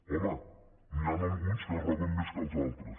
home n’hi han alguns que roben més que els altres